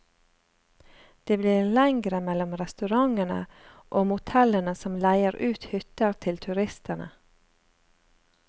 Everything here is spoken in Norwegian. Det blir lengre mellom restaurantene og motellene som leier ut hytter til turistene.